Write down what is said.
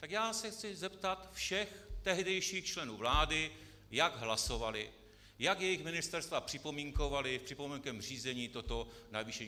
Tak já se chci zeptat všech tehdejších členů vlády, jak hlasovali, jak jejich ministerstva připomínkovala v připomínkovém řízení toto navýšení.